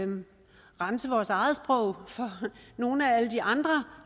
rense vores eget sprog for nogle af alle de andre